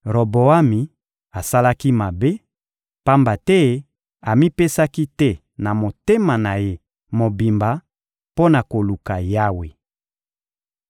Roboami asalaki mabe, pamba te amipesaki te, na motema na ye mobimba, mpo na koluka Yawe.